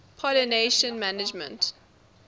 pollination management